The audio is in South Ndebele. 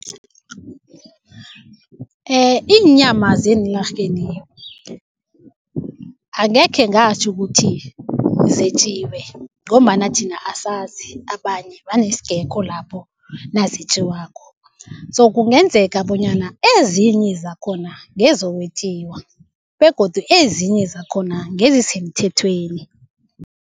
Iinyama zeenlarheni angekhe ngatjho ukuthi zetjiwe ngombana thina asazi, abanye, vane singekho lapho nazetjiwako so kungenzeka bonyana ezinye zakhona ngezokwetjiwa begodu ezinye zakhona ngezisemthethweni.